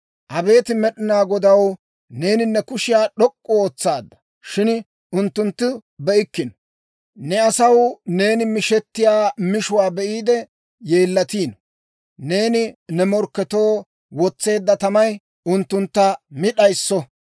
Abeet Med'inaa Godaw, neeni, ne kushiyaa d'ok'k'u ootsaadda; Shin unttunttu be'ikkino. Ne asaw neeni mishettiyaa mishuwaa be'iide yeellatino. Neeni ne morkketoo wotseedda tamay, unttuntta mi d'ayisso.